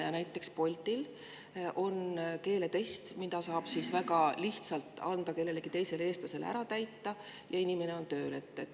Ja näiteks Boltil on keeletest, mille saab väga lihtsalt anda kellelegi teisele, eestlasele ära täita, ja inimene on tööl.